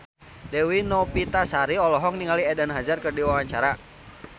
Dewi Novitasari olohok ningali Eden Hazard keur diwawancara